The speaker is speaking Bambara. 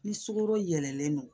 Ni sukaro yɛlɛlen don